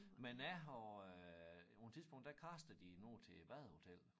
Men jeg har øh på et tidspunkt der castede de nogen til æ Badehotel